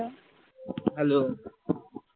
hello